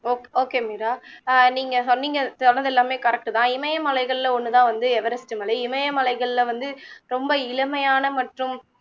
okay okay Meera ஆஹ் நீங்க சொன்னிங்க சொன்னது எல்லாமே correct தான் இமயமலைகள்ல ஒன்னு தான் வந்து எவரெஸ்டு மலை இமயமலைகள்ல வந்து ரொம்ப இளமையான மற்றும்